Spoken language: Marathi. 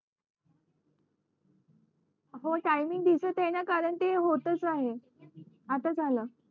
हो टाईमिंग दिसतंय कारण ते होतंच आहे आता झालं